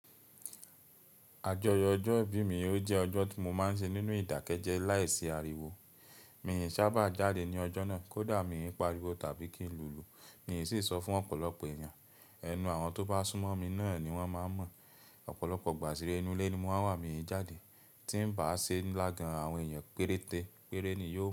Àjọyọ̀ ọjọ́ ìbí mi ó jẹ́ ọjọ́ tí mo máa ń ṣe nínú ìdákẹ́jẹ́ láìsí ariwo. Mi sábà jáde ní ọjọ́ náà kódà mi pariwo tàbí kí n lu lu. Mi ò sì sọ fún ọ̀pọ̀lọpọ̀ èèyàn. Ẹnu àwọn tó bá súnmọ́ mi náà ni wọ́n máa mọ̀. Ọ̀pọ̀lọpọ̀ ìgbà sì rẹ́ inú ilé ni mo máa n wà, mi jáde. Tí ń bá ṣe nlá gan àwọn èèyàn péréte, péré ni yóò wà.